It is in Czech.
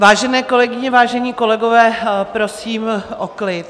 Vážené kolegyně, vážení kolegové, prosím o klid.